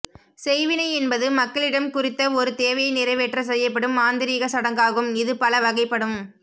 செய்வினை என்பது மக்களிடம் குறித்த ஒரு தேவையை நிறைவேற்ற செய்யப்படும் மாந்திரீக சடங்காகும் இது பல வகைப்படும்